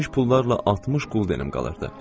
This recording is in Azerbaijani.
Gümüş pullarla 60 quldenim qalırdı.